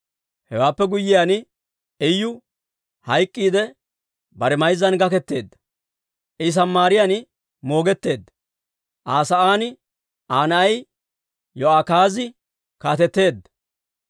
Hewaappe guyyiyaan, Iyu hayk'k'iidde, bare mayzzan gaketeedda; I Samaariyaan moogetteedda. Aa sa'aan Aa na'ay Yo'akaazi kaateteedda.